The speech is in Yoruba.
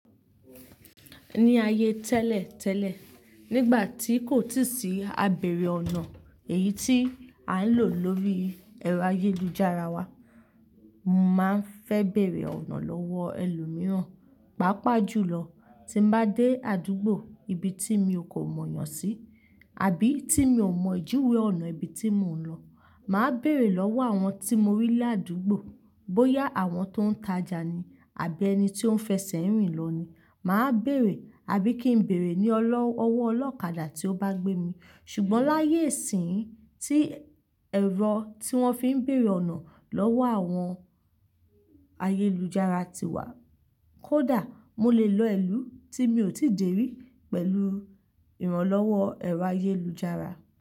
Ní ayé tẹ́lẹ̀ tẹ́lẹ̀, nígbà tí kò sì sí abẹ̀rẹ̀ ọ̀nà èyí tí a ń lò lórí ẹ̀rọ ayélujára wa, máa ń fẹ bẹ̀rẹ̀ ọ̀nà lọ́wọ́ ẹlòmíràn. Pápàá jùlọ tí mo bá dé àdúgbò ibi tí mi ò mọ̀ yàn sí àbí tí mi ò mọ ìjìwé ọ̀nà ibi tí mò ń lọ, màá bẹ̀rẹ̀ lọ́wọ́ àwọn tí mo rí lé àdúgbò. Bóyá àwọn tó ń tajà ni àbí ẹni tí ó ń fẹsẹ̀ rìn lọ ni, màá bẹ̀rẹ̀ àbí kí n bẹ̀rẹ̀ ní ọwọ́ ọlọ́kadà tí ó bá gbé mi. Ṣùgbọ́n láyé ìsín tí ẹ̀rọ tí wọ́n fi ń bẹ̀rẹ̀ ọ̀nà lọ́wọ́ àwọn ayélujára ti wà, kódà mo lè lọ ìlú tí mi ò tíì dèrí pẹ̀lú ìrànlọ́wọ́ ẹ̀rọ ayélujára.